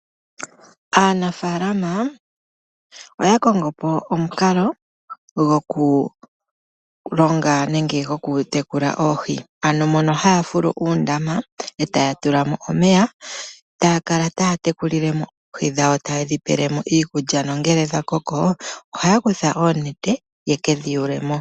Aanafalama oya kongo po omukalo go ku longa nenge go ku tekula oohi, ano mono haya fulu uundama e taya tula mo omeya. Ta ya kala taya tekulile mo oohi dhawo, taye dhi pele mo iikulya nongele dha koko ohaya kutha oonete, ya kedhi yuule mo.